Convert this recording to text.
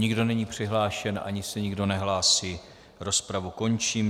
Nikdo není přihlášen, ani se nikdo nehlásí, rozpravu končím.